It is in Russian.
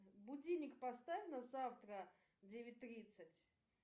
будильник поставь на завтра девять тридцать